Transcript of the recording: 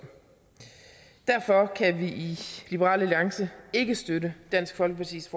derfor kan vi i liberal alliance ikke støtte dansk folkepartis